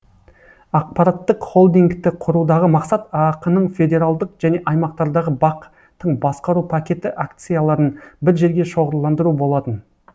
ақпараттық холдингті құрудағы мақсат аақ ның федералдық және аймақтардағы бақ тың басқару пакеті акцияларын бір жерге шоғырландыру болатын